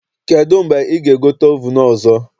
Kedụ mgbe ị ga-egote ovunu ọzọ?